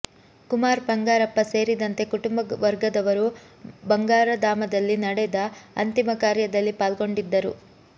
ಕುಮಾರ್ ಬಂಗಾರಪ್ಪ ಸೇರಿದಂತೆ ಕುಟುಂಬ ವರ್ಗದವರು ಬಂಗಾರಧಾಮದಲ್ಲಿ ನಡೆದ ಅಂತಿಮ ಕಾರ್ಯದಲ್ಲಿ ಪಾಲ್ಗೊಂಡಿದ್ದರು